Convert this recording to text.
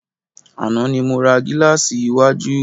Àná ni mo ra gílàsì iwájú.